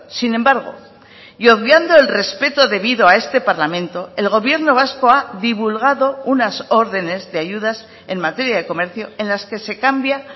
sin embargo y obviando el respeto debido a este parlamento el gobierno vasco ha divulgado unas órdenes de ayudas en materia de comercio en las que se cambia